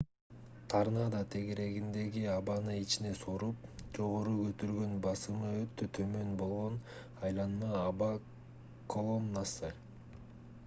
торнадо тегерегиндеги абаны ичине соруп жогору көтөргөн басымы өтө төмөн болгон айланма аба колоннасы